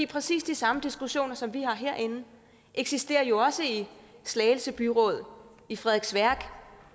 præcis de samme diskussioner som vi har herinde eksisterer jo også i slagelse byråd i frederiksværk